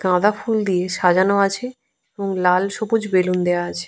গাঁদা ফুল দিয়ে সাজানো আছে এবং লাল সবুজ বেলুন দেয়া আছে।